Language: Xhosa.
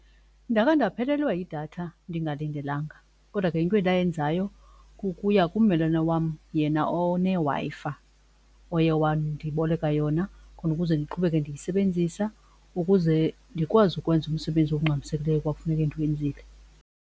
Ndake ndaphelelwa yidatha ndingalindelanga kodwa ke into endayenzayo kukuya kummelwane wam yena oneWi-Fi oye wandiboleka yona khona ukuze ndiqhubeke ndiyisebenzisa ukuze ndikwazi ukwenza umsebenzi ongxamisekileyo ekwakufuneka ndiwenzile.